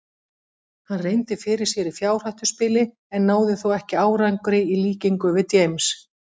Hann reyndi fyrir sér í fjárhættuspili en náði þó ekki árangri í líkingu við James.